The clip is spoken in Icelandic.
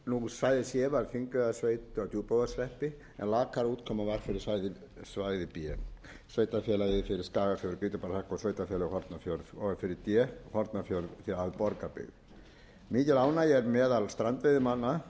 svæði c var þingeyjarsveit að djúpavogshreppi en lakari útkoma var fyrir svæði b sveitarfélagið skagafjörð grýtubakkahreppi og sveitarfélögin hornafjörð og fyrir d hornafjörð að borgarbyggð mikil ánægja er meðal strandveiðimanna